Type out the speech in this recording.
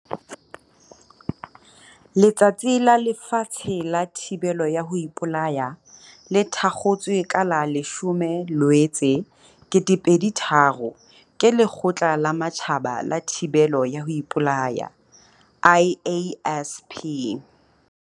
Letsatsi la Lefatshe la Thibelo ya ho Ipolaya le thakgotswe ka la 10 Loetse 2003, ke Lekgotla la Matjhaba la Thibelo ya ho Ipolaya, IASP.